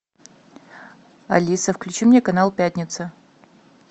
алиса включи мне канал пятница